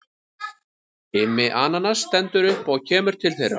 Immi ananas stendur upp og kemur til þeirra.